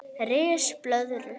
Ris blöðru